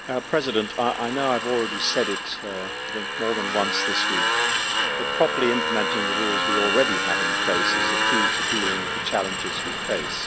Mr President, I know I have already said it more than once this week, but properly implementing the rules we already have in place is the key to dealing with the challenges we face.